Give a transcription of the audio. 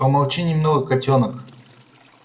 помолчи немного котёнок